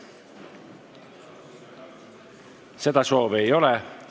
Seda soovi ei ole.